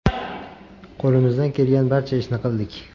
Qo‘limizdan kelgan barcha ishni qildik.